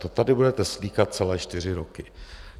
To tady budete slýchat celé čtyři roky.